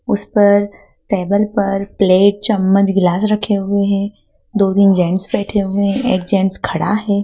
उस पर टेबल पर प्लेट चम्मच गिलास रखे हुए हैं दो तीन जेंट्स बैठे हुए एक जेंट्स खड़ा है।